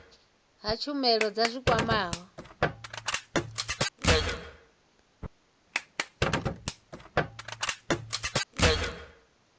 ha tshumelo dza zwi kwamaho